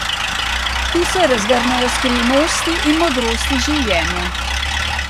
Tu se razgrnejo skrivnosti in modrosti življenja.